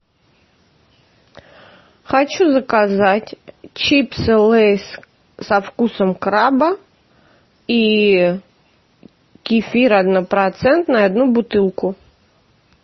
хочу заказать чипсы лейс со вкусом краба и кефир однопроцентный одну бутылку